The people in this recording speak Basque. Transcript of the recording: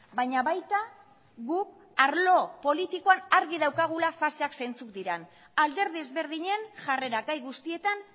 baina baita guk arlo politikoan argi daukagula faseak zeintzuk diran alderdi ezberdinen jarrera gai guztietan